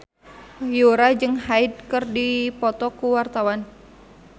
Yura jeung Hyde keur dipoto ku wartawan